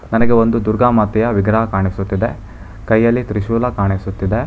ನನಗೆ ಒಂದು ದುರ್ಗಾ ಮಾತೆಯ ವಿಗ್ರಹ ಕಾಣಿಸುತ್ತದೆ ಕೈಯಲ್ಲಿ ತ್ರಿಶುಲ ಕಾಣಿಸುತ್ತಿದೆ.